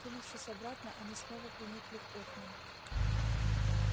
кинувшись обратно они снова приникли к окнам